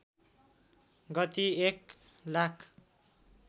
गति एक लाख